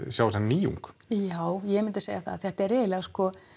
sjá þessa nýjung já ég myndi segja það þetta er eiginlega sko